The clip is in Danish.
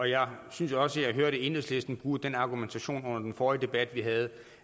jeg synes også jeg hørte enhedslisten bruge den argumentation under den forrige debat vi havde